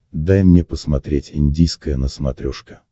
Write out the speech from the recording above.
дай мне посмотреть индийское на смотрешке